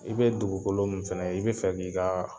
I bɛ dugukolo min fana i bɛ fɛ k' i ka